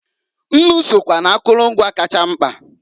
Nnụ so n'akụlụ ngwa kacha mkpa.